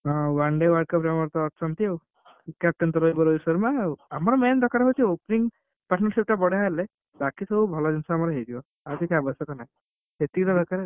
ହଁ One Day World Cup ରେ ଆମର ତ ଅଛନ୍ତି ଆଉ। captain ତ ରହିବ ରୋହିତ ଶର୍ମା ଆଉ ଆମର main ଦରକାର opening partnership ବଢିଆ ହେଲେ ବାକିସବୁ ଭଲଜିନିଷ ଆମର ହେଇଯିବ। ଆଉ କିଛି ଆବଶ୍ୟକ ନାହିଁ। ସେତିକି ତ ଦରକାର।